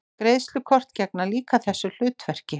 Greiðslukort gegna líka þessu hlutverki.